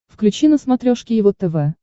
включи на смотрешке его тв